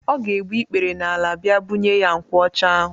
Ọ ga egbu ikpere n'ala bịa bunye ya nkwụ ọcha ahu.